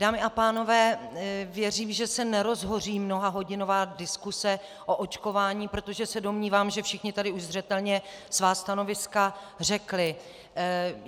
Dámy a pánové, věřím, že se nerozhoří mnohahodinová diskuse o očkování, protože se domnívám, že všichni tady už zřetelně svá stanoviska řekli.